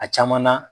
A caman na